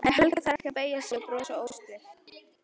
En Helga þarf ekki að beygja sig og brosa óstyrk.